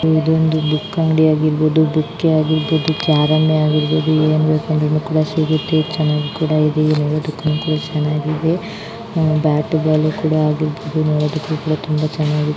ಇದೊಂದು ಬುಕ್ ಅಂಗಡಿ ಆಗಿರ್ಬಹುದು ಬುಕ್ಕೆ ಆಗಿರಬಹುದು ಕ್ಯಾರಮೆ ಆಗಿರ್ಬಹುದು. ಏನ್ ಕಂಡ್ರು ಕೂಡಾ ಸಿಗುತ್ತೆ. ಚನ್ನಾಗ್ ಕೂಡಾ ಇದೆ ನೋಡಿದುದಕ್ಕೆನು ಚನ್ನಾಗಿದೆ. ಅಹ್ ಬ್ಯಾಟ್ ಬಾಲ್ ಕೂಡಾ ಅಗ್ಗಲಿ ಇಲ್ಲಿ ನೋಡುದಕ್ಕೆ ತುಂಬಾ ಚನ್ನಾಗಿ --